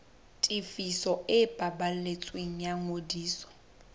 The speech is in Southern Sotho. tefiso e balletsweng ya ngodiso